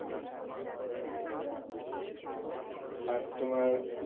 আর তোমার